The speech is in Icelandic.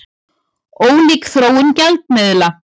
Ólík þróun gjaldmiðla